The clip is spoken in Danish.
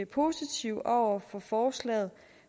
positive over for forslaget